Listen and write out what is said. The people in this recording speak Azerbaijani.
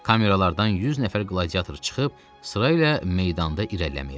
Kameralardan 100 nəfər qladiator çıxıb sırayla meydanda irəliləyirdi.